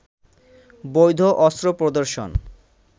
বৈধ অস্ত্র প্রদর্শন